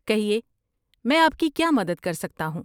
کہیے، میں آپ کی کیا مدد کر سکتا ہوں؟